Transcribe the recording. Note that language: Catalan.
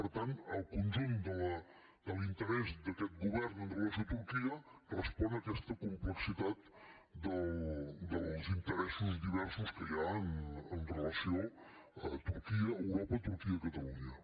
per tant el conjunt de l’interès d’aquest govern amb relació a turquia respon a aquesta complexitat dels interessos diversos que hi ha amb relació a turquia europa turquia catalunya